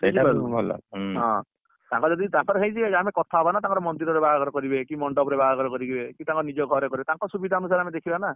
ହଁ ତାଙ୍କର ହେଇଯିବେ ଆମେ କଥା ହବା ନା ତାଙ୍କର ମନ୍ଦିର ରେ ବାହାଘର କରିବେ କି ମଣ୍ଡପ ରେ ବାହାଘର କରିବେ କି ତାଙ୍କ ନିଜ ଘରେ କରିବେ ତାଙ୍କ ସୁଭିଧା ଅନୁସାରେ ଆମେ ଦେଖିବା ନା